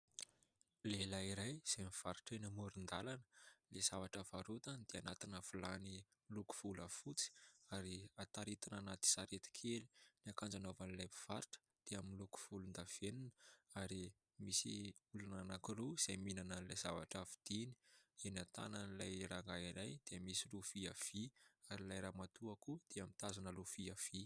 Lehilahy iray izay mivarotra eny amoron-dalana. Ny zavatra varotany dia anatina vilany miloko volafotsy ary taritina anaty sarety kely, ny akanjo anaovan'ilay mpivarotra dia miloko volondavenona ary misy olona anankiroa izay mihinana ilay zavatra vidiny, eny an-tanan'ilay rangahy iray dia misy lovia vy ary ilay ramatoa koa dia mitazona lovia vy.